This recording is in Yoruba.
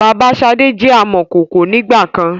Bàbá sade jẹ amọ̀kọkò ń ìgbàkan